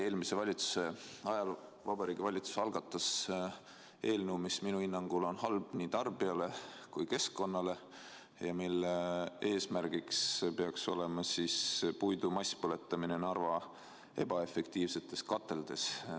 Eelmise valitsuse ajal algatas Vabariigi Valitsus eelnõu, mis minu hinnangul on halb nii tarbijatele kui keskkonnale ja mille eesmärk peaks olema puidu masspõletamine Narva ebaefektiivsetes kateldes.